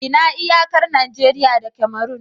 Ina iyakar Najeriya da Cameron?